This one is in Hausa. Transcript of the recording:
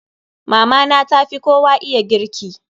Mama na ta fi kowa iya girki.